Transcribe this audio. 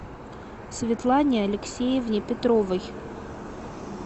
светлане алексеевне петровой